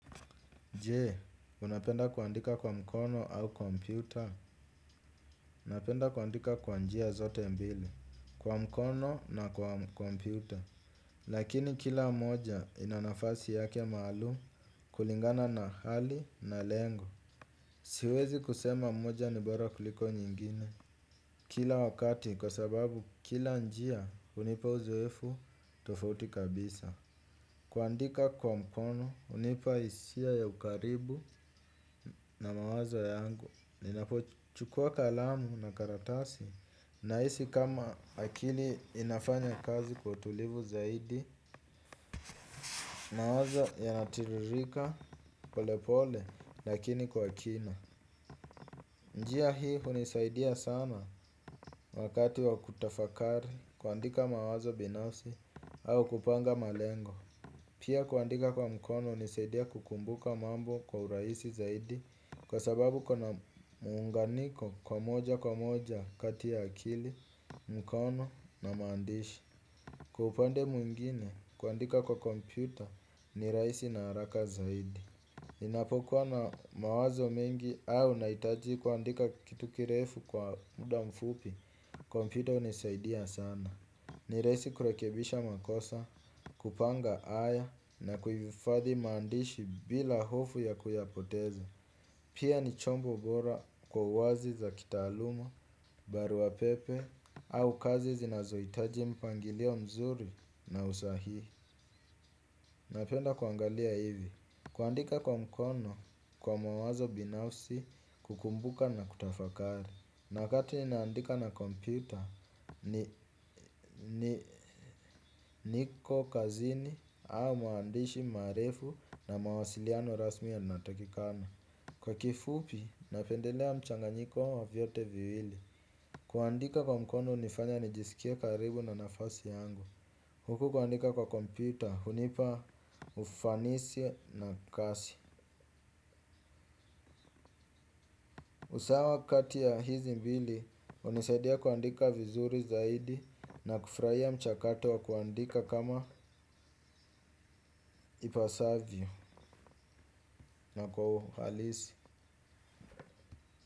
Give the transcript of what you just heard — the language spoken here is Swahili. Je unapenda kuandika kwa mkono au kompyuta napenda kuandika kwa njia zote mbili kwa mkono na kwa kompyuta. Lakini kila moja ina nafasi yake maalum kulingana na hali na lengo. Siwezi kusema moja n ibora kuliko nyingine kila wakati kwa sababu kila njia hunipa uzoefu tofauti kabisa. Kuandika kwa mkono hunipa hisia ya ukaribu na mawazo yangu ninapochukua kalamu na karatasi nahisi kama akili inafanya kazi kwa utulivu zaidi mawazo yanatiririka pole pole lakini kwa kina. Njia hii hunisaidia sana wakati wa kutafakari kuandika mawazo binafsi au kupanga malengo. Pia kuandika kwa mkono hunisaidia kukumbuka mambo kwa urahisi zaidi kwa sababu kuna muunganiko wa moja kwa moja kati ya akili mkono na mandishi. Kwa upande mwingine kuandika kwa kompyuta ni rahisi na haraka zaidi. Ninapokuwa na mawazo mengi au nahitaji kuandika kitu kirefu kwa muda mfupi kompyuta hunisaidia sana. Ni rahisi kurekebisha makosa kupanga aya na kuhifadhi maandishi bila hofu ya kuyapoteza. Pia ni chombo bora kwa kazi za kitaaluma barua pepe au kazi zinazohitaji mpangilio mzuri na usahihi. Napenda kuangalia hivi. Kuandika kwa mkono kwa mawazo binafsi kukumbuka na kutafakari. Na wakati nina andika na kompyuta ni niko kazini au maandishi marefu na mawasiliano rasmi yanatakikana. Kwa kifupi napendelea mchanganyiko wa vyote viwili. Kuandika kwa mkono hunifanya nijisikie karibu na nafasi yangu. Huku kuandika kwa kompyuta hunipa ufanisi na kasi. Usawa kati ya hizi mbili hunisaidia kuandika vizuri zaidi na kufurahia mchakato wa kuandika kama ipasavyo na kwa uhalisi.